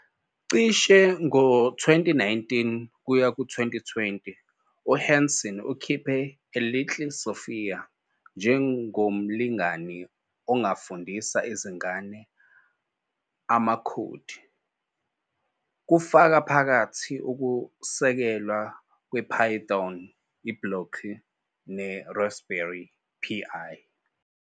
Cishe ngo-2019-20, uHanson ukhiphe i- "Little Sophia" njengomlingani ongafundisa izingane amakhodi, kufaka phakathi ukusekelwa kwePython, iBlockly, neRaspberry Pi.